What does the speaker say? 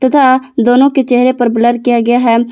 तथा दोनों के चेहरे पर ब्लर किया गया है।